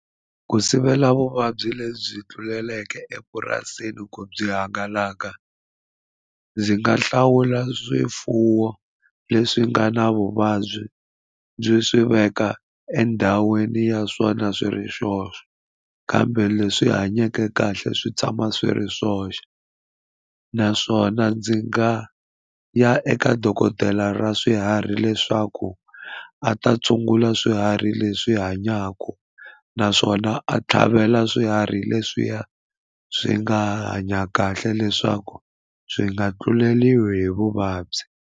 Ku sivela vuvabyi lebyi tluleleke epurasini ku byi hangalaka ndzi nga hlawula swifuwo leswi nga na vuvabyi ndzi swi veka endhawini ya swona swi ri swoxe kambe leswi hanyeke kahle swi tshama swi ri swoxe naswona ndzi nga ya eka dokodela ra swiharhi leswaku a ta tshungula swiharhi leswi hanyaka naswona a tlhavela swiharhi leswiya swi nga hanya kahle leswaku swi nga tluleriwi hi vuvabyi.